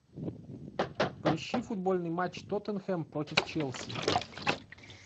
поищи футбольный матч тоттенхэм против челси